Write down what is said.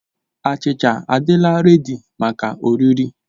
Achịcha a'dịla redi maka oriri.